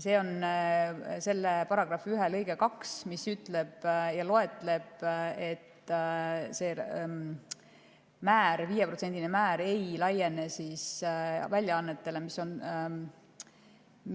Selle § 1 lõikes 2 on öeldud, et 5%‑line määr ei laiene väljaannetele,